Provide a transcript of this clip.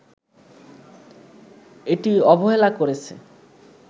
এটি অবহেলা করেছে